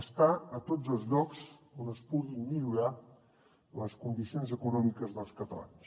estar a tots els llocs on es pugui millorar les condicions econòmiques dels catalans